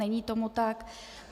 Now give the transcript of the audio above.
Není tomu tak.